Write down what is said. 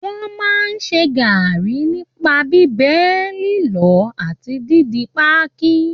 Wọ́n máa ń ṣe gaàrí nipa bíbẹ, lílọ̀ àti díndín páákí